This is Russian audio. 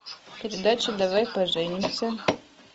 передача давай поженимся